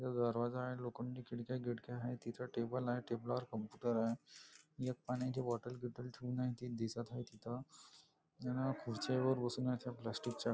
इथे दरवाजा आ लोखंडी खिडक्या गिडक्या आहेत एक टेबल आहे टेबला वर कम्प्युटर आहे एक पाण्याची बॉटल ठेऊन आहे ति दिसत आहे तिथं अन खुरच्यांवर बसून आहे त्या प्लॅस्टिकच्या --